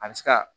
A bɛ se ka